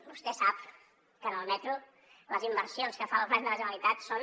vostè sap que en el metro les inversions que fa el govern de la generalitat són